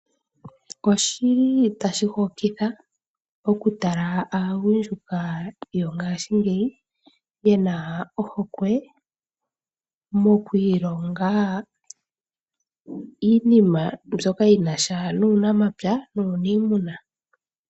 Oshili tashi hokitha oku tala aagundjuka yongaashingeyika ye na ohokwe mokwiilonga iinima mbyoka yina sha nuunamapya nuuniimuna.